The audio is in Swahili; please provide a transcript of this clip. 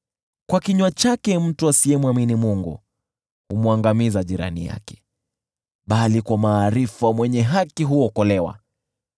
Kwa kinywa chake mtu asiyemwamini Mungu humwangamiza jirani yake, bali kwa maarifa mwenye haki huokolewa.